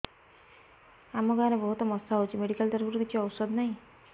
ଆମ ଗାଁ ରେ ବହୁତ ମଶା ହଉଚି ମେଡିକାଲ ତରଫରୁ କିଛି ଔଷଧ ନାହିଁ